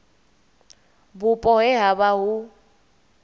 vhupo he ha vha hu